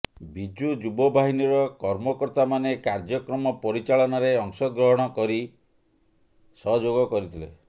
ବିଜୁ ଯୁବ ବାହିନୀର କର୍ମକର୍ତ୍ତାମାନେ କାର୍ଯ୍ୟକ୍ରମ ପରିଚାଳନାରେ ଅଂଶ ଗ୍ରଣ କରି ସହଯୋଗ କରିଥିଲେ